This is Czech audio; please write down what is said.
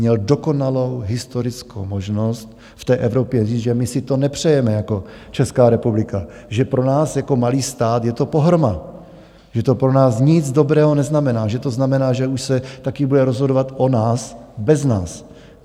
Měl dokonalou historickou možnost v té Evropě říct, že my si to nepřejeme jako Česká republika, že pro nás jako malý stát je to pohroma, že to pro nás nic dobrého neznamená, že to znamená, že už se taky bude rozhodovat o nás bez nás.